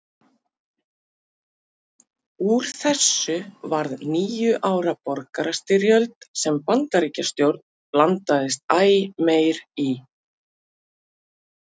Úr þessu varð níu ára borgarastyrjöld sem Bandaríkjastjórn blandaðist æ meir í.